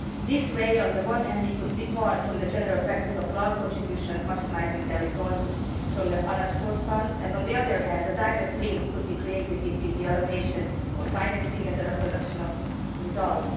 This way, on the one hand, we could depart from the general practice of large contributions maximising their returns from the unabsorbed funds and, on the other hand, a direct link could be created between the allocation of financing and the reproduction of results.